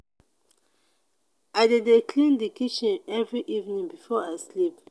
i dey dey clean di kitchen every evening before i sleep.